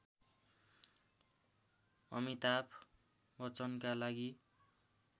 अमिताभ बच्चनका लागि